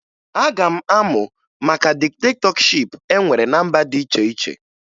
Aga m amụ maka diktetọship e nwere ná mba dị iche iche